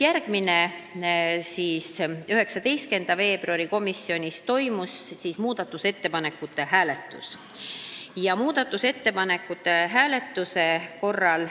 Järgmisel istungil ehk 19. veebruaril toimus komisjonis muudatusettepanekute hääletus.